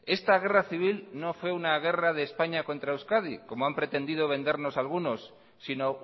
esta guerra civil no fue una guerra de españa contra euskadi como han pretendido vendernos algunos sino